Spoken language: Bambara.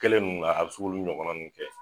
Kɛlen nunnu a bi se k'olu ɲɔgɔnna nunnu kɛ